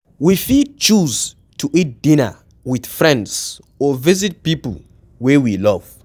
We fit choose to eat dinner with friends or visit pipo wey we love